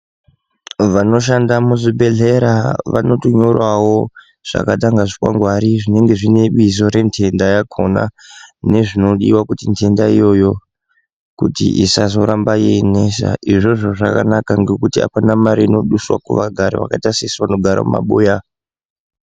Vanoshanda muzvibhedhlera vanotonyorawo zvakaita kunga zvikwangwari zvinenge zvine bizo rentenda yakona nezvinodiwa kuti ndenda iyoyo kuti isazoramba ichinesa. Izvozvo zvakanaka ngekuti hapana mari inoduswa kuvagari vakaita sesu vanogara mumabuya.